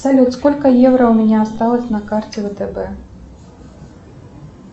салют сколько евро у меня осталось на карте втб